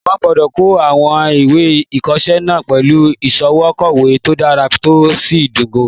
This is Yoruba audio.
Wọ́n gbọdọ̀ kọ àwọn ìwé ìkọsẹ́ náà pẹ̀lú ìsọwọ́kọ̀wé to dára tó sì dùn wò